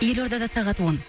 ел ордада сағат он